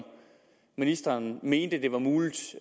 ministeren mente det var muligt